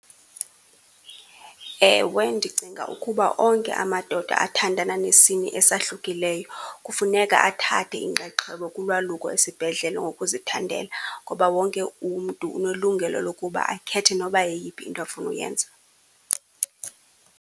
Ewe ndicinga ukuba onke amadoda athandana nesini esahlukileyo kufuneka athathe inxaxheba kulwaluko esibedlela ngokuzithandela, ngoba wonke umntu unelungelo lokuba akhethe noba yeyiphi into afuna uyenza.